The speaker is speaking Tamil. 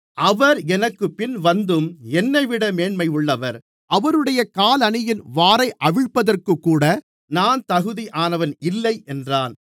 அவர் எனக்குப்பின் வந்தும் என்னைவிட மேன்மையுள்ளவர் அவருடைய காலணியின் வாரை அவிழ்ப்பதற்குக்கூட நான் தகுதியானவன் இல்லை என்றான்